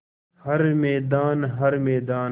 हर मैदान हर मैदान